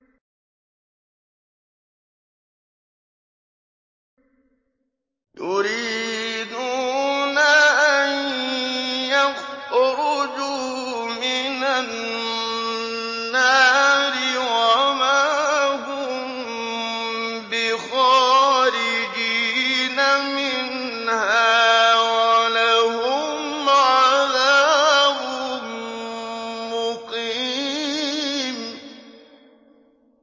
يُرِيدُونَ أَن يَخْرُجُوا مِنَ النَّارِ وَمَا هُم بِخَارِجِينَ مِنْهَا ۖ وَلَهُمْ عَذَابٌ مُّقِيمٌ